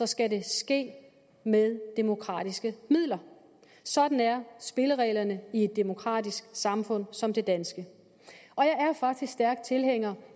skal det ske med demokratiske midler sådan er spillereglerne i et demokratisk samfund som det danske jeg er faktisk stærk tilhænger